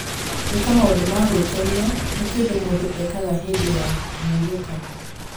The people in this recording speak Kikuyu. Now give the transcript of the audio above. Gwĩka maũndũ ma gwĩkenia nĩ kĩndũ mũndũ ekaga hĩndĩ ya kũhurũka.